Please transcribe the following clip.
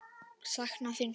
Sakna þín svo mikið.